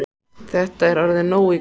Þetta er orðið nóg í kvöld.